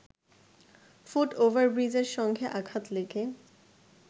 foot ওভারব্রিজের সঙ্গে আঘাত লেগে